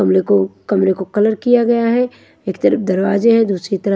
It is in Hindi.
कमरे को कमरे को कलर किया गया है एक तरफ दरवाजे हैं दूसरी तरफ--